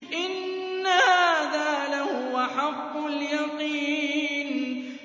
إِنَّ هَٰذَا لَهُوَ حَقُّ الْيَقِينِ